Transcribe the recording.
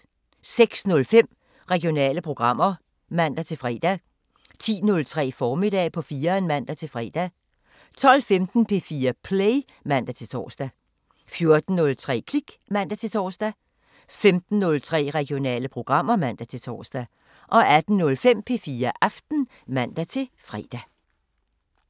06:05: Regionale programmer (man-fre) 10:03: Formiddag på 4'eren (man-fre) 12:15: P4 Play (man-tor) 14:03: Klik (man-tor) 15:03: Regionale programmer (man-tor) 18:05: P4 Aften (man-fre)